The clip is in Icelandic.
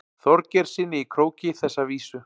Þorgeirssyni í Króki þessa vísu.